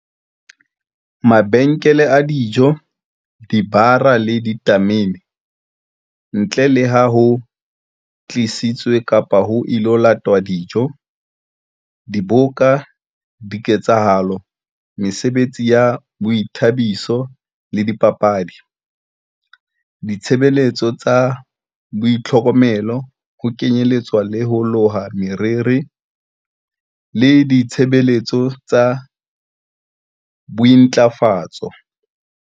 Mabenkele a dijo, dibara le ditamene, ntle le ha ho tlisitswe kapa ho ilo latwa dijo. Diboka, diketsahalo, mesebetsi ya boithabiso le dipapadi. Ditshebeletso tsa boitlhokomelo, ho kenyeletswa ho loha moriri le ditshe-beletso tsa bointlafatso.